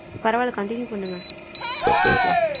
பரவல continue பண்ணுங்க பேசலாம்